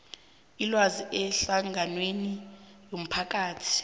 ilwazi ehlanganweni yomphakathi